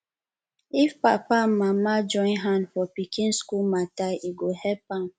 if papa and mama join hand for pikin school matter e go help am